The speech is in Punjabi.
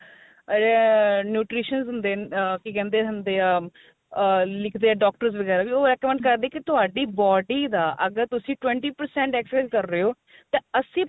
ah nutrition ਨੂੰ ਦੇਣ ਕੀ ਕਹਿੰਦੇ ਆ ah ਲਿੱਖਦੇ ਏ doctors ਵਗੈਰਾ ਵੀ ਉਹ recommend ਕਰਦੇ ਏ ਕੀ ਤੁਹਾਡੀ body ਦਾ ਅਗਰ ਤੁਸੀਂ twenty percent exercise ਕ਼ਰ ਰਹੇ ਓ ਤਾਂ ਅੱਸੀ percent